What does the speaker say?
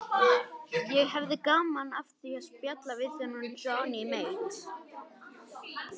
Ég hefði gaman af því að spjalla við þennan Johnny Mate.